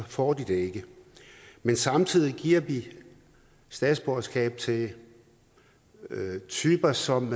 får de det ikke men samtidig giver vi statsborgerskab til typer som